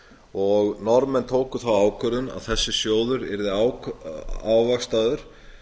og norðmenn tóku þá ákvörðun að þessi sjóður yrði ávaxtaður